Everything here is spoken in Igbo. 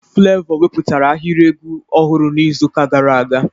Flevọ weputara ahịrị egwu ọhụrụ n'izu ụka gara aga.